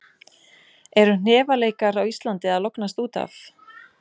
Eru hnefaleikar á Íslandi að lognast út af?